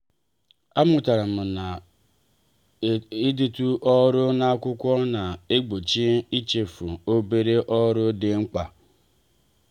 a mụtara m na-idetu ọrụ n'akwụkwọ na-egbochi ichefu obere ọrụ dị mkpa